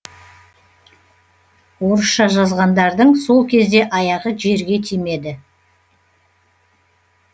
орысша жазғандардың сол кезде аяғы жерге тимеді